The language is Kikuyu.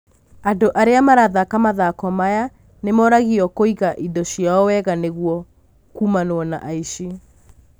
Andũ arĩa marathaka mathako maya nĩmoragio kũiga indo ciao wega nĩguo kuumanwo na aici.